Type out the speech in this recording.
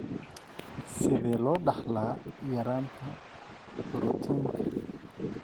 Sidee loo dhaxlaa yaraanta borotiinka?